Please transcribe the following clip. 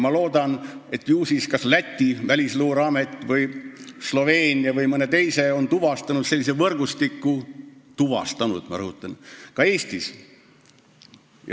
Ma ei tea, võib-olla on Läti, Sloveenia või mõne teise riigi välisluureamet sellise võrgustiku tuvastanud – ma rõhutan, tuvastanud – ka Eestis.